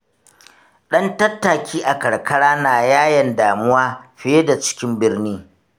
Ɗan tattaki a karkara na yayen damuwa fiye da cikin birni.